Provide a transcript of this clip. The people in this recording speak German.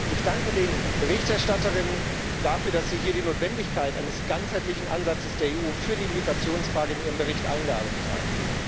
Ich danke den Berichterstatterinnen dafür, dass sie hier die Notwendigkeit eines ganzheitlichen Ansatzes der EU für die Migrationsfrage in ihren Bericht eingearbeitet haben.